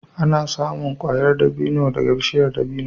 Ana samun ƙwayar dabino daga bishiyar dabino.